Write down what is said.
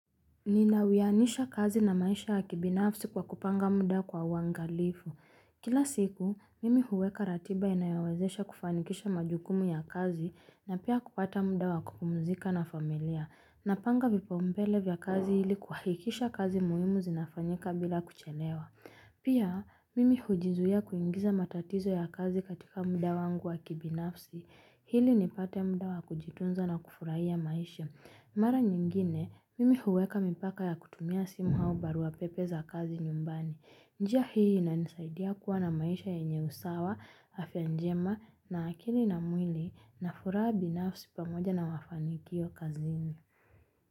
Nina uwianisha kazi na maisha ya kibinafsi kwa kupanga muda kwa uwangalifu. Kila siku, mimi huweka ratiba inayawezesha kufanikisha majukumu ya kazi na pia kupata muda wa kumzika na familia. Napanga vipaumbele vya kazi hili kuhakikisha kazi muhimu zinafanyika bila kuchelewa. Pia, mimi hujizuia kuingiza matatizo ya kazi katika muda wangu wa kibinafsi. Ili nipate muda wa kujitunza na kufurahia maisha. Mara nyingine, mimi huweka mipaka ya kutumia simu au barua pepe za kazi nyumbani. Njia hii inanisaidia kuwa na maisha yenye usawa, afya njema na akili na mwili na furaha binafsi pamoja na wafanikio kazini.